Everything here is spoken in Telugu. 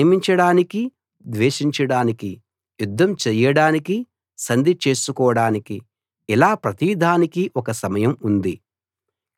ప్రేమించడానికీ ద్వేషించడానికీ యుద్ధం చేయడానికీ సంధి చేసుకోడానికీ ఇలా ప్రతిదానికీ ఒక సమయం ఉంది